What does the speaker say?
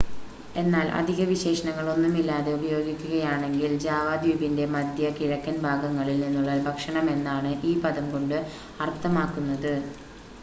എന്നാൽ അധിക വിശേഷണങ്ങൾ ഒന്നുമില്ലാതെ ഉപയോഗിക്കുകയാണെങ്കിൽ ജാവ ദ്വീപിൻ്റെ മധ്യ കിഴക്കൻ ഭാഗങ്ങളിൽ നിന്നുള്ള ഭക്ഷണമെന്നാണ് ഈ പദം കൊണ്ട് അർത്ഥമാക്കുന്നത്